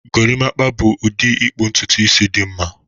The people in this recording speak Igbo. Gorimpa bụ ụdị ịkpụ ntutu isi dị mma